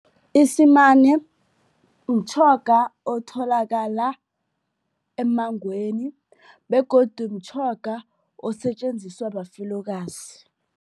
Isimane mtjhoga otholakala emmangweni begodu mtjhoga osetjenziswa bafelokazi.